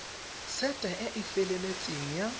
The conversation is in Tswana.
sete e e feleletseng ya